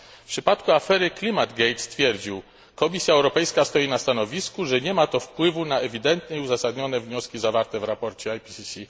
W przypadku afery Climategate komisarz stwierdził Komisja Europejska stoi na stanowisku, że nie ma to wpływu na ewidentne i uzasadnione wnioski zawarte w raporcie IPCC.